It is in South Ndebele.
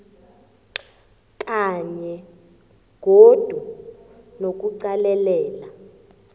kanye godu nokuqalelela